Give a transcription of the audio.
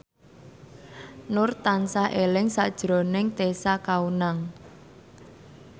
Nur tansah eling sakjroning Tessa Kaunang